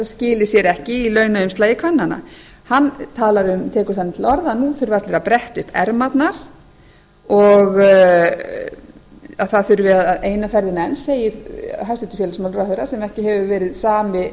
skili sér ekki í launaumslagi kvennanna hann tekur þannig til orða að nú þurfi allir að bretta upp ermarnar og það þurfi eina ferðina enn segir hæstvirtur félagsmálaráðherra sem ekki hefur verið sami